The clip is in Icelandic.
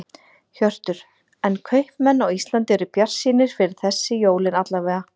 Hjörtur: En kaupmenn á Íslandi eru bjartsýnir fyrir þessi jólin alla vega?